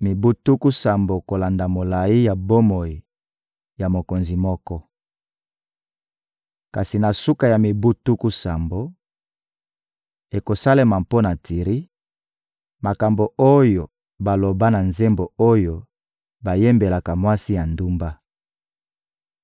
mibu tuku sambo kolanda molayi ya bomoi ya mokonzi moko. Kasi na suka ya mibu tuku sambo, ekosalema mpo na Tiri, makambo oyo baloba na nzembo oyo bayembelaka mwasi ya ndumba: